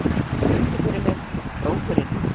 Salóme, syngdu fyrir mig „Krókurinn“.